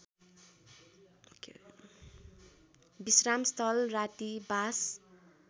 विश्रामस्थल राति बास